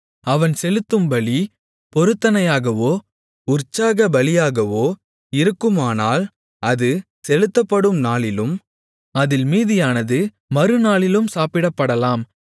அவன் செலுத்தும் பலி பொருத்தனையாகவோ உற்சாகபலியாகவோ இருக்குமானால் அது செலுத்தப்படும் நாளிலும் அதில் மீதியானது மறுநாளிலும் சாப்பிடப்படலாம்